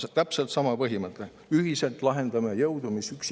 Täpselt sama põhimõte: ühiselt jõudu ja lahendame asju.